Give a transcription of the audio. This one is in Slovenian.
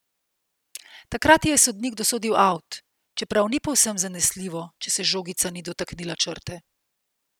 Takrat ji je sodnik dosodil avt, čeprav ni povsem zanesljivo, če se žogica ni dotaknila črte.